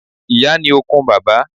Ìyá ni okun bàbá.